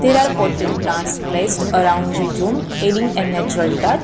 There are plotted plants are placed around the room adding a natural touch.